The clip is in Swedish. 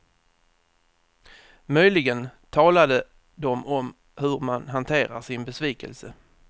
Möjligen talade de om hur man hanterar sin besvikelse.